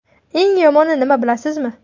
Eng yomoni nima bilasizmi?